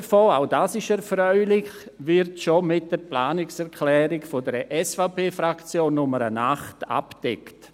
Ein Teil davon – auch dies ist erfreulich – wird bereits mit der Planungserklärung 8 der SVP-Fraktion abgedeckt.